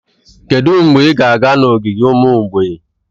Kedu mgbe ị ga-aga n'ogige ụmụ mgbei?